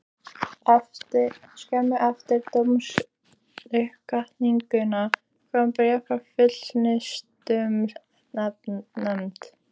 Skömmu eftir dómsuppkvaðninguna kom bréf frá Fullnustumatsnefnd.